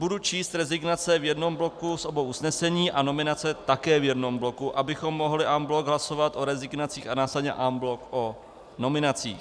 Budu číst rezignace v jednom bloku z obou usnesení a nominace také v jednom bloku, abychom mohli en bloc hlasovat o rezignacích a následně en bloc o nominacích.